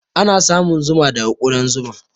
Ana samun Zuma daga kudan Zuma.